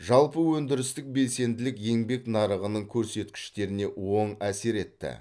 жалпы өндірістік белсенділік еңбек нарығының көрсеткіштеріне оң әсер етті